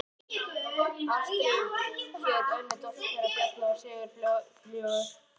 Ástríður hét önnur dóttir þeirra Bjarna og Sigurfljóðar.